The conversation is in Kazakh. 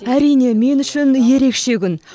әрине мен үшін ерекше күн